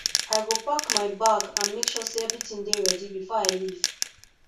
i go pack my bag and make sure say everything dey ready before i leave